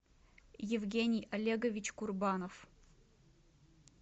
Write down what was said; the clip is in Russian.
евгений олегович курбанов